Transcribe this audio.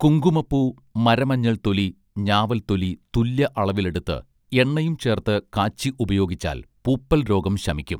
കുങ്കുമപൂ മരമഞ്ഞൾ തൊലി ഞാവൽ തൊലി തുല്യ അളവിൽ എടുത്ത് എണ്ണയും ചേർത്തു കാച്ചി ഉപയോഗിച്ചാൽ പൂപ്പൽ രോഗം ശമിക്കും